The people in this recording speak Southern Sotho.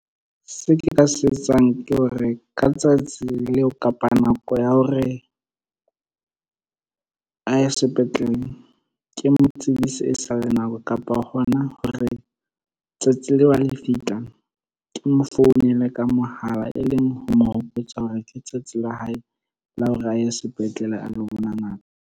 Se ke ka se etsang ke hore ka tsatsi leo, kapa nako ya hore a ye sepetlele. Ke mo tsebise e sa le nako, kapa ha hona hore tsatsi leo a le fitla. Ke mo founela ka mohala e leng ho mo hopotsa hore ke tsatsi la hae la hore a ye sepetlele a lo bona ngaka.